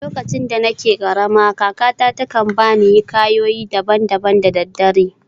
Lokacin da nake karama, kakarta ta kan ba ni hikayoyi daban-daban da daddare.